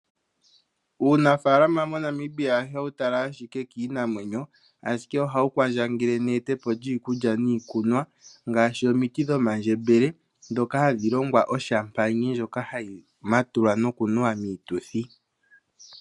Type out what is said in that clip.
Uunafaalama moNamibia ihawu tala ashike kiinamwenyo, ashike ohawu kwandjangele neetepo lyiikulya niikunwa ngaashi omiti dhomandjembele ndhoka hadhi longwa oshampayina ndjoka hayi matulwa noku nuwa miituthi.